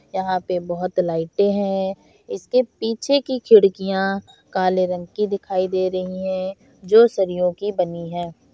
यहाँ पे बहुत लाइटे है इसके पीछे की खिडकिया काले रंग की दिखाई दे रही है जो सरियों की बनी है।